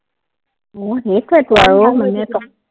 অ, সেইটোৱেইটো আৰু মানে